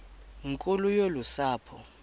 nkulu yolu sapho